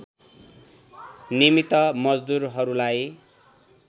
निमित्त मजदुरहरूलाई